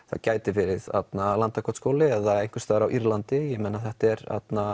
það gæti verið Landakotsskóli eða einhvers staðar á Írlandi þetta er